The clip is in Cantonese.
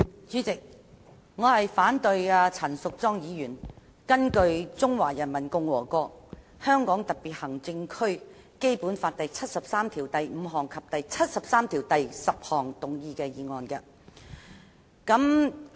主席，我反對陳淑莊議員根據《中華人民共和國香港特別行政區基本法》第七十三條第五項及第七十三條第十項動議的議案。